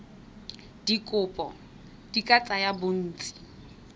dikopo di ka tsaya bontsi